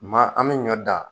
Maa an me ɲɔ dan